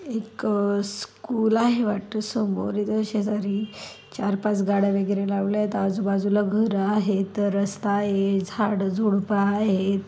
एक स्कूल आहे वाटतो समोर इथे शेजारी चार पाच गाड्या वेगेरे लावल्यात आजूबाजूला घर आहेत रस्ता आहे झाडझुडपं आहेत.